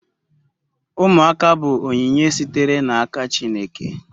Umuaka bu onyinye sitere na aka chineke